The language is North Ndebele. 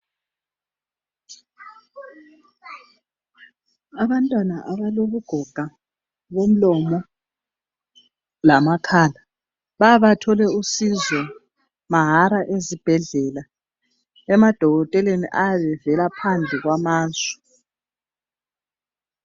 Abantwana abalobugoga bomlomo lamakhala bayabathole usizo mahala ezibhedlela emadokoteleni ayabe evela phandle kwamazwe.